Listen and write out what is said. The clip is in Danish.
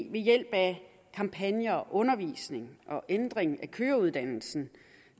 ved hjælp af kampagner undervisning og ændring af køreuddannelsen